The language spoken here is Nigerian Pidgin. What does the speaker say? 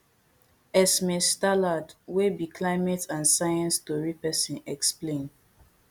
esme stallard wey be climate and science tori pesin explain